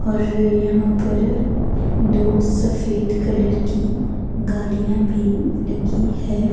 और पर यहां पर दो सफेद कलर की गाड़ियां भी लगी है।